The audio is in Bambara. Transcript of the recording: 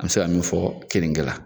An mi se ka min fɔ keninge la.